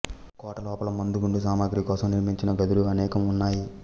కోటలోపల మందు గుండు సామాగ్రి కోసం నిర్మించిన గదులు అనేకం ఉన్నాయి